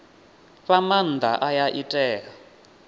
fha maanda aya i tea